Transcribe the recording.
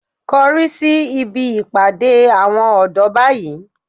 Korí síbi ìpàdé àwọn ọ̀dọ́ báyìí